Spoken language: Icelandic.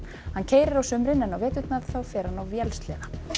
hann keyrir á sumrin en á veturna fer hann á vélsleða